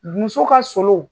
Muso ka solo